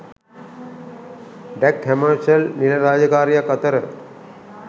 Dag Hammarskjold නිල රාජකාරියක් අතර